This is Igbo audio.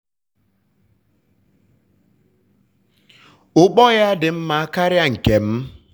ukpo ya dị mma karịa nke m.